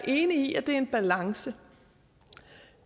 i at det er en balance